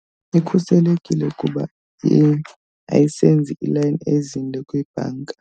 Ikhuselekile kuba ayisenzi iilayini ezinde kwibhanka.